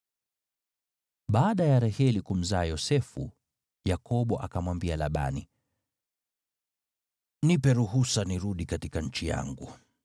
Baada ya Raheli kumzaa Yosefu, Yakobo akamwambia Labani, “Nipe ruhusa nirudi katika nchi yangu.